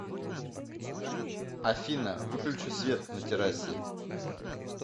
афина выключи свет на террасе